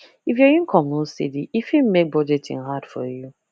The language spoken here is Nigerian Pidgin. if your income no steady e fit make budgeting hard for you